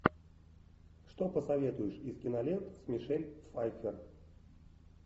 что посоветуешь из кинолент с мишель пфайффер